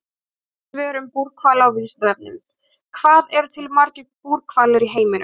Önnur svör um búrhvali á Vísindavefnum: Hvað eru til margir búrhvalir í heiminum?